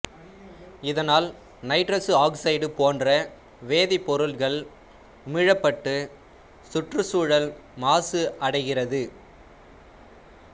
இதனால் nitrous oxide போன்ற வேதிப்பொருட்கள் உமிழப்பட்டு சுற்றுச்சூழல் மாசு அடைகிறது